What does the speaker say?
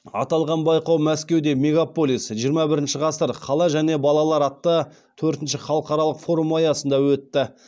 аталған байқау мәскеуде мегаполис жиырма бірінші ғасыр қала және балалар атты төртінші халықаралық форум аясында өтті